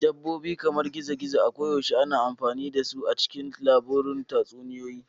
Dabbobi kamar gizo-gizo koyaushe ana amfani da su a cikin labarun tatsuniyoyi.